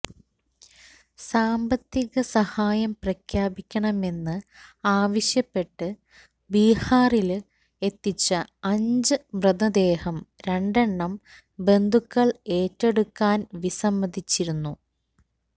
സാമ്പത്തിക സഹായം പ്രഖ്യാപിക്കണമെന്ന് ആവശ്യപ്പെട്ട് ബീഹാറില് എത്തിച്ച അഞ്ച് മൃതദേഹം രണ്ടെണ്ണം ബന്ധുക്കള് ഏറ്റെടുക്കാന് വിസമ്മതിച്ചിരുന്നു